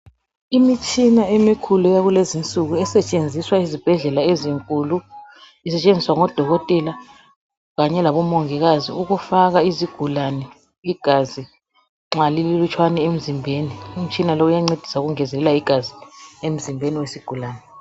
Imitshina yakulezinsuku esetshenziswa ngodokotela kanye labomongikazi ukufaka izigulane igazi nxa lililutshwana emzimbeni, umtshina lo uyancedisa ukungezelela igazi emzimbeni wesigulani.